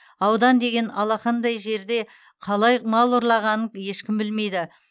аудан деген алақандай жерде қалай мал ұрлағанын ешкім білмейді